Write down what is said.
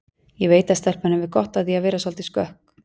Ég veit að stelpan hefur gott af því að verða soldið skökk